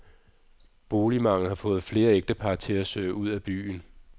Boligmanglen har fået flere ægtepar til at søge ud af byen.